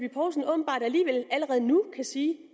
åbenbart alligevel allerede nu kan sige